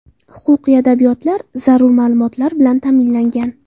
Huquqiy adabiyotlar, zarur ma’lumotlar bilan ta’minlangan.